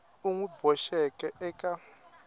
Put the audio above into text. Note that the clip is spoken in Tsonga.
u n wi boxeke eka